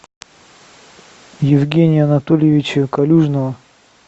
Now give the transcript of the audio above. евгения анатольевича калюжного